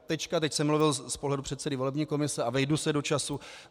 Teď jsem mluvil z pohledu předsedy volební komise a vejdu se do času.